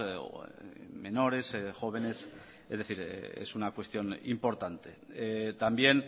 o menores jóvenes es decir es una cuestión importante también